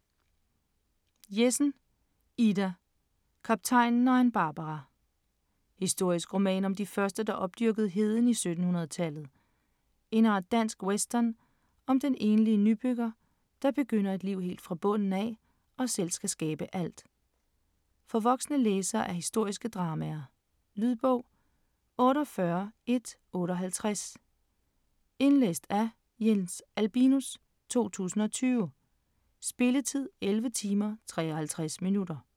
Jessen, Ida: Kaptajnen og Ann Barbara Historisk roman om de første, der opdyrkede heden i 1700-tallet. En art dansk western om den enlige nybygger, der begynder et liv helt fra bunden af og selv skal skabe alt. For voksne læsere af historiske dramaer. Lydbog 48158 Indlæst af Jens Albinus, 2020. Spilletid: 11 timer, 53 minutter.